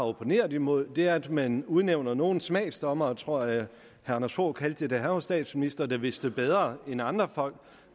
opponeret imod er at man udnævner nogle smagsdommere tror jeg herre anders fogh kaldte dem da han var statsminister der vidste bedre end andre folk